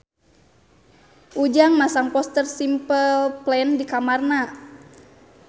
Ujang masang poster Simple Plan di kamarna